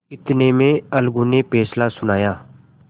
इतने में अलगू ने फैसला सुनाया